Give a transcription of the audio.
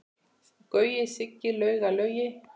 Gaui, Siggi, Lauga, Laugi.